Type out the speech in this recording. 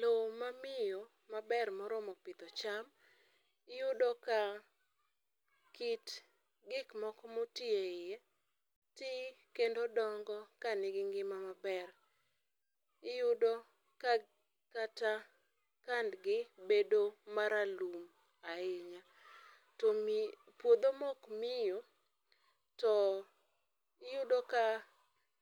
Loo ma miyo maber moromo pidho cham, iyudo ka kit gik moko ma otii e iye, tii kendo dongo ka nigi ngima maber. Iyudo ka kata rangi gi bedo ma ralum ahinya, to puodho maok miyo to iyudo ka